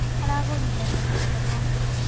Aragũrire mbegũ cia mboco.